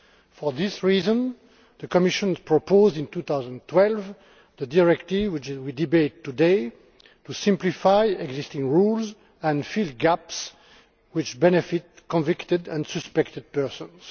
For this reason the Commission proposed, in 2012, the directive which we are debating today to simplify existing rules and fill gaps which benefit convicted and suspected persons.